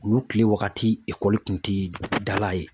Olu kile waagati kun tɛ dala ye.